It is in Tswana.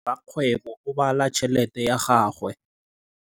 Rakgwêbô o bala tšheletê ya gagwe.